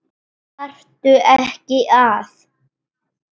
Þarftu ekki að?